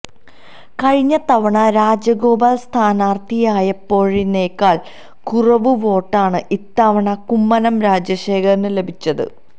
കഴിഞ്ഞ തവണ രാജഗോപാൽ സ്ഥാനാർത്ഥിയായപ്പോഴതിനേക്കാൾ കുറവ് വോട്ടാണ് ഇത്തവണ കുമ്മനം രാജശേഖരന് ലഭിച്ചത്